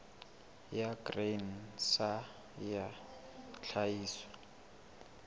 ya grain sa ya tlhahiso